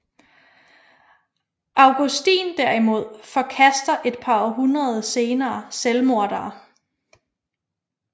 Augustin derimod forkaster et par århundreder senere selvmordere